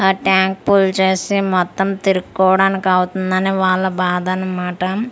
ఆ tank full చేసి మొత్తం తిరుకోవడానికి అవుతుంది అని వాళ్ళ బాధ అన్నమాట అల--